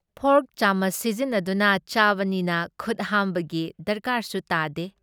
Fork ꯆꯥꯃꯆ ꯁꯤꯖꯤꯟꯅꯗꯨꯅ ꯆꯥꯕꯅꯤꯅ ꯈꯨꯠ ꯍꯥꯝꯕꯒꯤ ꯗꯔꯀꯥꯔꯁꯨ ꯂꯩꯇꯦ ꯫